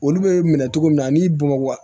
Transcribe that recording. Olu bɛ minɛ cogo min na ani bamakɔ